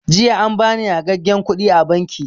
Jiya an bani yagagen kuɗi a banki